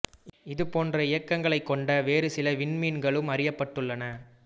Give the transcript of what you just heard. இது போன்ற இயக்கங்களைக் கொண்ட வேறு சில விண்மீன்களும் அறியப்பட்டுள்ளன